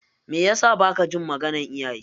Meyasa baka jin maganar iyaye?